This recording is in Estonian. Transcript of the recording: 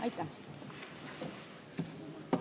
Aitäh!